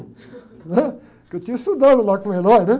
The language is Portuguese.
né? Porque eu tinha estudado lá com o, né?